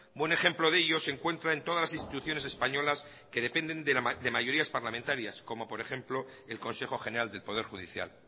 buen ejemplo de ello se encuentra en todas las instituciones españolas que dependen de mayorías parlamentarias como por ejemplo el consejo general del poder judicial